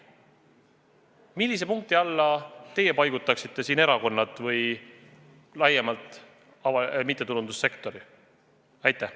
Millise punkti alla teie paigutaksite siin erakonnad või laiemalt mittetulundussektori?